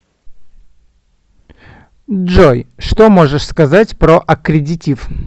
джой что можешь сказать про аккредитив